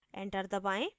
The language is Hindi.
enter दबाएँ